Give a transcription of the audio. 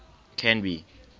canby